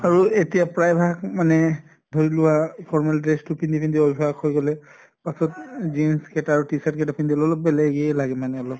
আৰু এতিয়া প্ৰায় ভাগ মানে ধৰি লোৱা formal dress তো পিন্ধি পিন্ধি অভ্য়াস হৈ গʼলে পাছত jeans কেটা আৰু t-shirt কেইটা পিন্ধিলে অলপ বেলেগ এ লাগে মানে অলপ